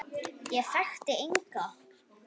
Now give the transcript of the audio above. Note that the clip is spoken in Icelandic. Ég þekkti enga.